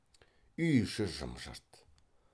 үй іші жым жырт